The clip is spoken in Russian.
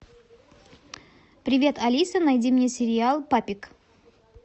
привет алиса найди мне сериал папик